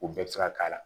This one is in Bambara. U bɛɛ bɛ se ka k'a la